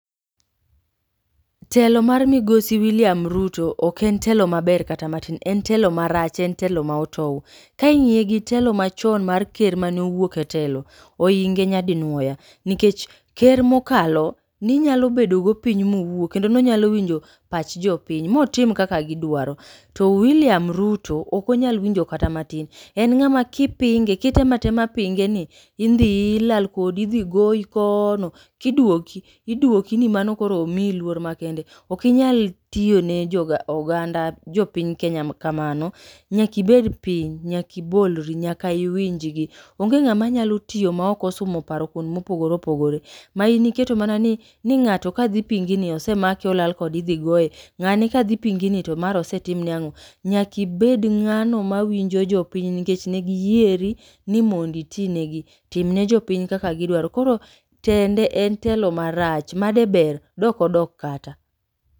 Telo mar migosi William Ruto ok en telo maber kata matin, en telo marach en telo ma otou. Ka ing'iye gi telo mar ker machon mane owuok e telo, ohinge nyadi nuoya nikech, nikech ker mokalo, ne unyalo bedo go piny ma uwuo kendo nonyalo winjo pach jo piny ma otim kaka gidwaro. To William Ruto ok onyal winjo kata matin en ng'ama ka ipinge, kitemo atema pinge ni, idhiyi ilal kodi idhi goyi koono, koduoki, iduoki ni mano koro omiyi luor makende, ok inyal tiyo ne joganda jopiny Kenya kamano. Nyaka ibed piny, nyaka ibolri, nyaka iwinjgi. Onge ng'ama nyalo tiyo ma ok osumo paro kuond mopogre opogre, ma in iketo mana ni ni ng'ato kadhi pingi ni osemake olal kode idhi goye, ng'ane ka dhi pingi ni to mara osetim ne ang'o. Nyaka ibed ng'ano ma winjo jopiny nikech ne giyieri ni mondo iti negi, timne jopiny kaka gidwaro. Koro tende en telo marach ma de ber de ok odok kata.